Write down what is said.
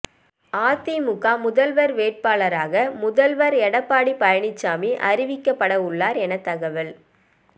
அதிமுக முதல்வர் வேட்பாளராக முதல்வர் எடப்பாடி பழனிசாமி அறிவிக்கப்பட உள்ளார் என தகவல்